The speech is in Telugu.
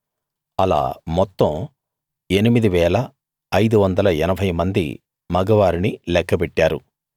అలా మొత్తం 8 580 మంది మగ వారిని లెక్క పెట్టారు